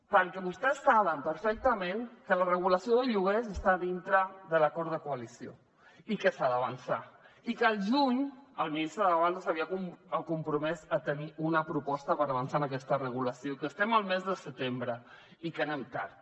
perquè vostès saben perfectament que la regulació del lloguer està dintre de l’acord de coalició i que s’ha d’avançar i que el juny el ministre ábalos s’havia compromès a tenir una proposta per avançar en aquesta regulació i que estem al mes de setembre i que anem tard